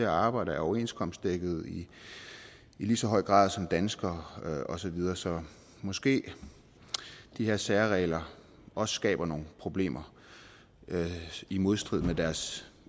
og arbejder er overenskomstdækket i lige så høj grad som danskere og så videre så måske de her særregler også skaber nogle problemer i modstrid med deres